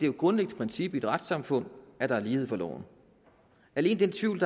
et grundlæggende princip i et retssamfund at der er lighed for loven alene den tvivl